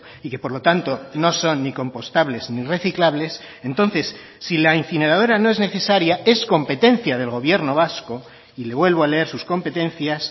y que por lo tanto no son ni compostables ni reciclables entonces si la incineradora no es necesaria es competencia del gobierno vasco y le vuelvo a leer sus competencias